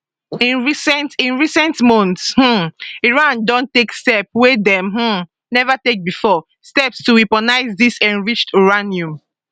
in recent in recent months um iran don take steps wey dem um neva take bifor steps to weaponise dis enriched uranium